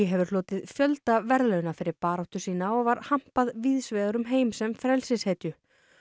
hefur hlotið fjölda verðlauna fyrir baráttu sína og var hampað víðs vegar um heim sem frelsishetju